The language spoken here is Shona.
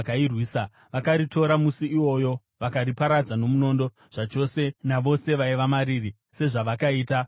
Vakaritora musi iwoyo vakariparadza nomunondo zvachose navose vaiva mariri, sezvavakaita kuRakishi.